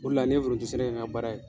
O de la n ye foronto sɛnɛ kɛ n ka baara ye.